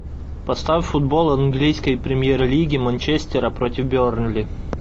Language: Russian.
поставь футбол английской премьер лиги манчестера против бернли